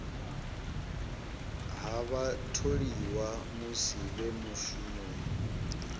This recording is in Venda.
ha vhatholiwa musi vhe mushumoni